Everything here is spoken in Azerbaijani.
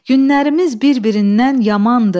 Günlərimiz bir-birindən yamandır.